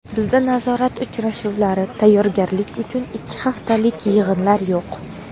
Bizda nazorat uchrashuvlari, tayyorgarlik uchun ikki haftalik yig‘inlar yo‘q.